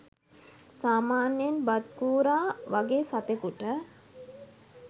සාමාන්‍යයෙන් බත් කූරා වගේ සතෙකුට